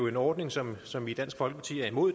en ordning som som vi i dansk folkeparti er imod